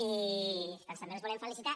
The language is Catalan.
i doncs també els volem felicitar